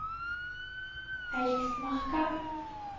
Eiksmarka